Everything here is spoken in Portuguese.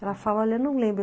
Ela fala, olha, não lembro.